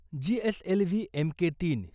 GSLV M K तीन